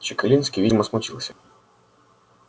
чекалинский видимо смутился